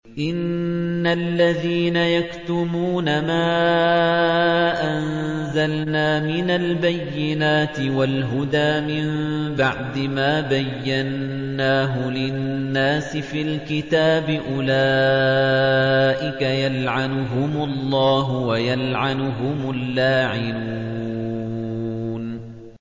إِنَّ الَّذِينَ يَكْتُمُونَ مَا أَنزَلْنَا مِنَ الْبَيِّنَاتِ وَالْهُدَىٰ مِن بَعْدِ مَا بَيَّنَّاهُ لِلنَّاسِ فِي الْكِتَابِ ۙ أُولَٰئِكَ يَلْعَنُهُمُ اللَّهُ وَيَلْعَنُهُمُ اللَّاعِنُونَ